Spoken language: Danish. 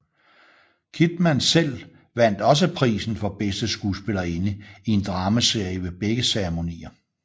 Kidman selv vandt også prisen for Bedste Skuespillerinde i en Dramaserie ved begge ceremonier